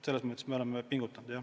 Selles mõttes me oleme pingutanud jah.